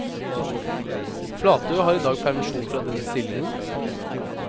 Flatø har i dag permisjon fra denne stillingen.